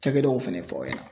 Cakɛdaw fɛnɛ fɔ aw ɲɛna.